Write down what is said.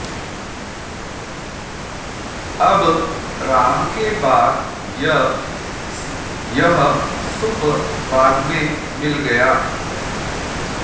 अब राम के बाद य यह सुप् बाद में मिल गया